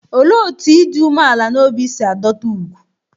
Olee otú ịdị umeala n'obi si adọta ùgwù?